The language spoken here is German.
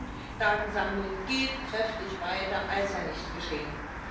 Die Massendatensammlung geht kräftig weiter, als sei nichts geschehen.